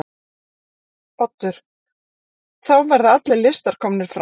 Oddur: Þá verða allir listar komnir fram?